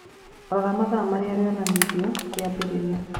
Rora mathaa marĩa rionithanirio riraambiriria